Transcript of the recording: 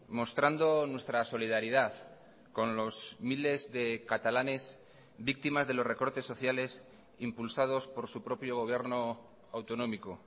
mostrando nuestra solidaridad con los miles de catalanes víctimas de los recortes sociales impulsados por su propio gobierno autonómico